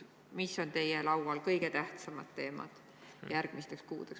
Mis on teie laual kõige tähtsamad teemad järgmisteks kuudeks?